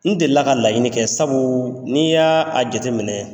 N deli la ka laɲini kɛ, sabu n'i y'a a jate minɛ